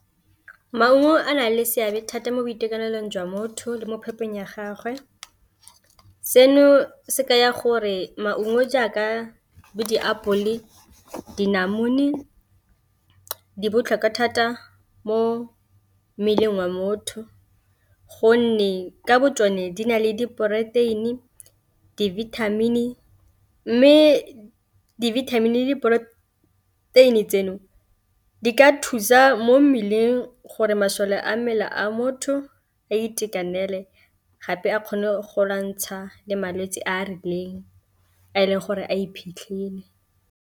Maungo a na le seabe thata mo boitekanelong jwa motho le mo phepong ya gagwe, seno se ka ya gore maungo jaaka bo diapole le dinamune di botlhokwa thata mo mmeleng wa motho, gonne ka bo tsone di na le diporoteini, dibithamini mme dibithamini le diporoteini tseno di ka thusa mo mmeleng gore masole a mmele a motho a itekanele gape a kgone go lwantsha le malwetse a a rileng a e leng gore a iphitlhile.